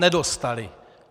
Nedostaly.